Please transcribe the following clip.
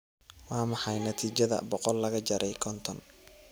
waa maxay natiijada boqol laga jaray konton